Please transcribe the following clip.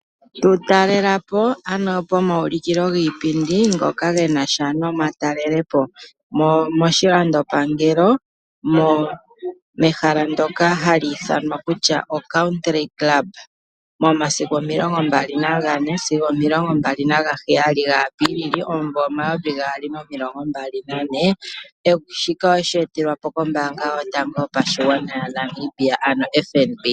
Tu talela po ano pomaulukilo giipindi ngoka ga nasha nomatalelopo, moshilandopangelo pehala ndyoka hali ithanwa Windhoek Country Club okuza momasiku 24 sigo 27 Apilili 2024. Shika owe shi etelwa kombaanga yotango yopashigwana, ano FNB.